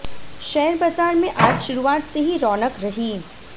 share बाजार में आज शुरुआत से ही रौनक रही